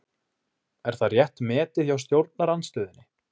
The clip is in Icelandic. Er það rétt metið hjá stjórnarandstöðunni?